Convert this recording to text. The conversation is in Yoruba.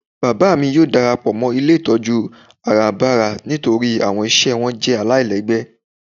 Bábá mi yóò darapọ ilé itọju àràbárà nítorí awọn iṣẹ wọn jẹ́ àláilègbé.